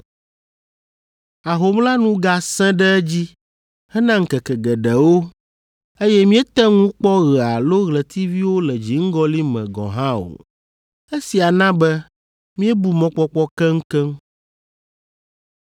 Ahom la nu gasẽ ɖe edzi hena ŋkeke geɖewo, eye míete ŋu kpɔ ɣe alo ɣletiviwo le dziŋgɔli me gɔ̃ hã o. Esia na be míebu mɔkpɔkpɔ keŋkeŋ.